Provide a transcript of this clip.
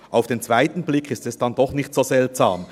Auf den zweiten Blick ist es dann doch nicht so seltsam.